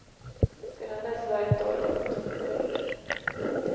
Sedan dess har ett år gått. punkt